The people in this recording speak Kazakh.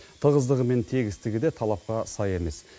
тығыздығы мен тегістігі де талапқа сай емес